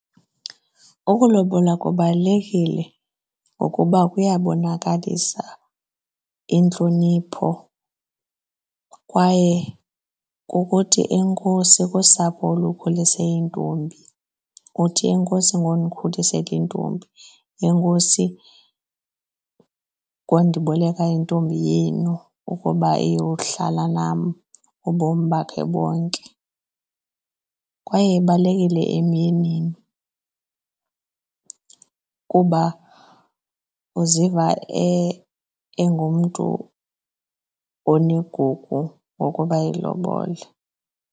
Ukulobola kubalulekile ngokuba kuyabonakalisa intlonipho kwaye kukuthi enkosi kusapho olukhulise intombi. Uthi enkosi ngokundikhulisela intombi, enkosi ngondiboleka intombi yenu ukuba iyohlala nam ubomi bakhe bonke. Kwaye ibalulekile emyenini kuba uziva engumntu onegugu ngokuba elobole.